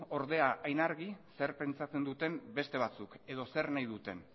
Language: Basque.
ordea hain argi zer pentsatzen duten beste batzuek edo zer nahi duten